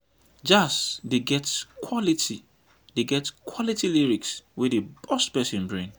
jazz dey get quality dey get quality lyrics wey dey burst person brain